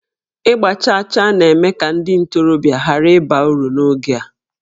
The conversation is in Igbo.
Ịgba chaa chaa na-eme ka ndị ntorobịa ghara ịba uru n'oge a